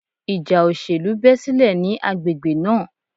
Ìjà òṣèlú bẹ́ sílẹ̀ ní agbègbè náà.